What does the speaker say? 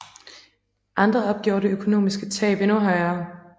Andre opgjorde det økonomiske tab endnu højere